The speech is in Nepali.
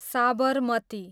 साबरमती